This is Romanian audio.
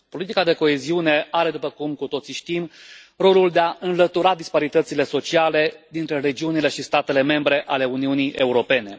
Politica de coeziune are, după cum cu toții știm, rolul de a înlătura disparitățile sociale dintre regiunile și statele membre ale Uniunii Europene.